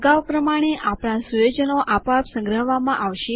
આગાઉ પ્રમાણે આપણા સુયોજનો આપોઆપ સંગ્રહવામાં આવશે